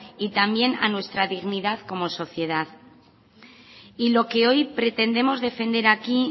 y también a nuestra dignidad como sociedad y lo que hoy pretendemos defender aquí